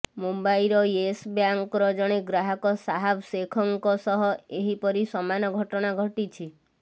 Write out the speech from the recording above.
ମୁମ୍ବାଇର ୟେସ ବ୍ୟାଙ୍କର ଜଣେ ଗ୍ରାହକ ଶାହାବ ଶେଖଙ୍କ ସହ ଏହିପରି ସମାନ ଘଟଣା ଘଟିଛି